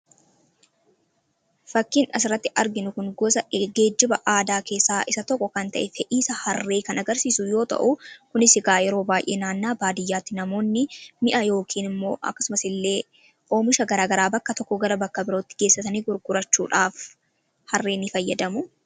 Fakkiin asirratti arginu kun gosa geejjiba aadaa keessaa isa tokko kan ta'e fe'iisa harree kan agarsiisu yoo ta'u, kunis egaa yeroo baay'ee naannaa baadiyyaatti namoonni mi'a yookiin immoo akkasumas illee oomisha garaagaraa bakka tokkoo gara bakka birootti geessatanii gurgurachuudhaaf harree ni fayyadamu.